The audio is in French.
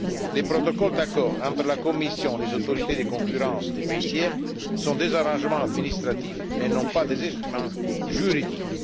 Les protocoles d'accord entre la Commission et les autorités de la concurrence des pays tiers sont des arrangements administratifs et non pas des instruments juridiques.